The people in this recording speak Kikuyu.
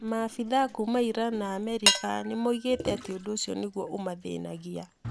Maafithaa kuuma Iran na Amerika nĩ moigĩte atĩ ũndũ ũcio nĩguo ũmathĩnagia.